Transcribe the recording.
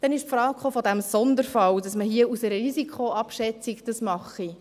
Dann kam die Frage des Sonderfalls, wonach man dies aufgrund einer Risikoabschätzung mache.